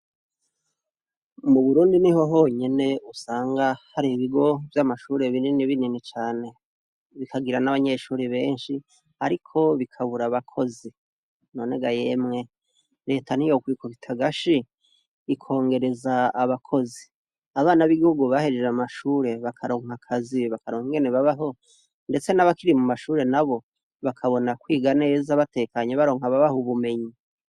Mu burundi ni ho honyene usanga hari ibigo vy'amashure binini binini cane bikagira n'abanyeshuri benshi, ariko bikabura abakozi none ga yemwe leta ni yokwikubitagashi ikongereza abakozi abana b'iguru bahejeje amashure bakarakwa kazibe bakarongene babaho, ndetse n'abakiri mu mashure na bo bakabona kwiganza batekanyi baronka babaho ubumenyi.